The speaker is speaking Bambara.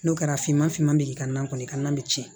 N'o kɛra finman finman bɛ i ka nan kɔni tiɲɛ